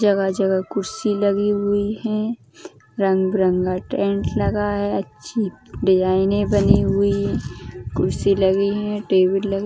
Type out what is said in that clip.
जगह-जगह कुर्सी लगी हुई हैं । रंग बिरंगा टेंट लगा है। अच्छी डिज़ाइने बनी हुई हैं। कुर्सी लगी है टेबल ल --